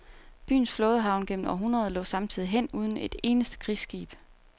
Byens flådehavn gennem århundreder lå samtidig hen uden et eneste krigsskib.